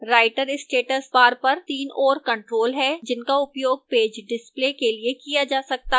writer status bar पर 3 और controls हैं जिनका उपयोग पेज displays के लिए किया जा सकता है